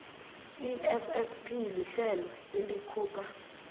issp lihlelo elikhupha